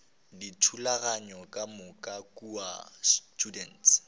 dithulaganyo ka moka kua students